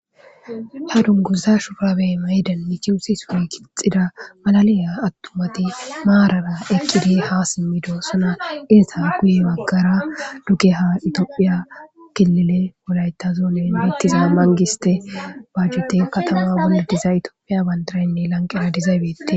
Ha dunguza shupurabey maydan michiusi sure kixxida malaliya attumati maarara eqqidi ha simmido suna inza guye maggara dugeha itoophiya kilile wolayta zuunen mittiza mangiste bajjute katama buludiza itoophiya bandaraynne lanqera dizaybette.